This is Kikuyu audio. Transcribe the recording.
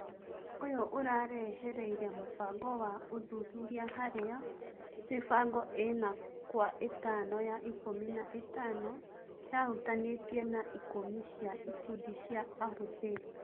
ũyũ ũrarehereire mũbango wa ũthuthuria harĩa mĩbango ĩna kwa ĩtano ya ikũmi na ĩtano yahutanĩtie na ikũmi cia ikundi cia ahũthĩri.